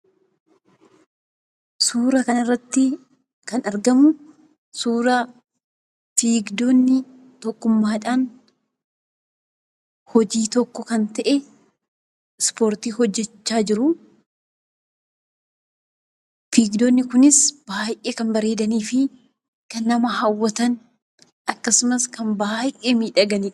Suuraa kanarratti kana argamu suuraa fiigdonni tokkummaadhaan hojii tokko kan ta'e ispoortii hojjachaa jiru. Fiigdonni kunis baay'ee kan bareedanii fi kan nama hawwataniidha akkasumas kan baay'ee miidhaganiidha.